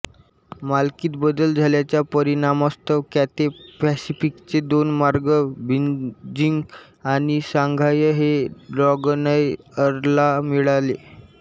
मालकीत बदल झाल्याच्या परिणामास्तव कॅथे पॅसिफिकचे दोन मार्ग बीजिंग आणि शांघाय हे ड्रॅगनएअरला मिळाले